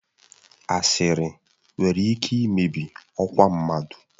Asịrị nwere ike imebi ọkwa mmadụ.